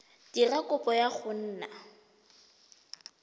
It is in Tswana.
dira kopo ya go nna